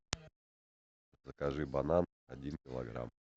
закажи банан один килограмм